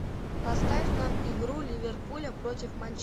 поставь нам игру ливерпуля против